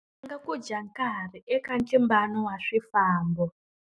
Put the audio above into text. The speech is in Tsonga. Ku dya nkarhi eka ntlimbano wa swifambo.